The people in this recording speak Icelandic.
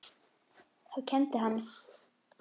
Þá kenndi hann.